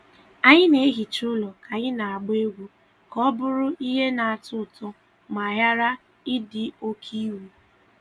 Anyị na-ehicha ụlọ ka anyị na-agba egwu ka ọ bụrụ ihe na-atọ ụtọ ma ghara ịdị oke iwu.